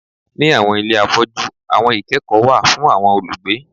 Ni awọn ile afọju awọn ikẹkọ wa fun awọn olugbe